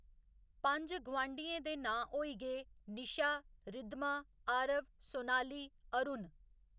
पंज गोआंढियें दे नांऽ होई गे निशा, रिद्धमा, आरव, सोनाली, अरूण